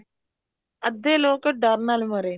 ਅੱਧੇ ਲੋਕ ਡਰ ਨਾਲ ਮਰੇ ਨੇ